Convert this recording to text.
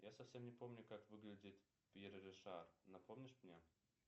я совсем не помню как выглядит пьер ришар напомнишь мне